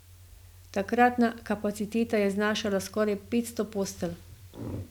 Takratna kapaciteta je znašala skoraj petsto postelj.